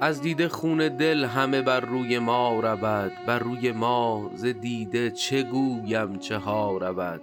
از دیده خون دل همه بر روی ما رود بر روی ما ز دیده چه گویم چه ها رود